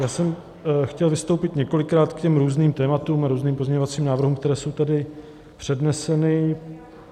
Já jsem chtěl vystoupit několikrát k těm různým tématům a různým pozměňovacím návrhům, které jsou tady předneseny.